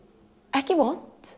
ekki vont